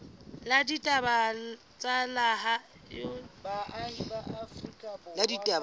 la ditaba tsa lehae hore